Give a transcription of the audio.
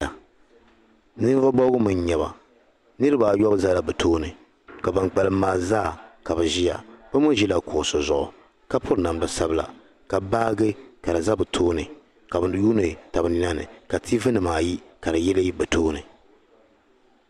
Ninvuɣ' bɔbigu mi n-nyɛ ba niriba ayɔbu zala bɛ tooni ka ban kpalim maa zaa ka bɛ ʒia bɛ mi ʒila kuɣisi zuɣu ka piri namda sabila ka baaji ka di za bɛ tooni ka bɛ yuuni taba nina ni ka tiivinima ayi ka di yili bɛ tooni.